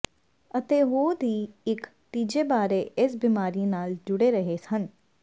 ਅਤੇ ਉਹ ਦੀ ਇੱਕ ਤੀਜੇ ਬਾਰੇ ਇਸ ਬਿਮਾਰੀ ਨਾਲ ਜੁੜੇ ਰਹੇ ਹਨ